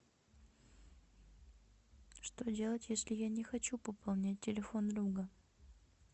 что делать если я не хочу пополнять телефон друга